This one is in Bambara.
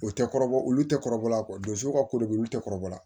O tɛ kɔrɔbɔ olu tɛ kɔrɔbɔla kɔ donso ka ko de bɛ olu tɛ kɔrɔbɔ la